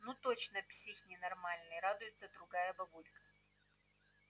ну точно псих ненормальный радуется другая бабулька